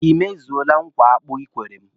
Ị mezuole nkwa akpụ ị kwere m?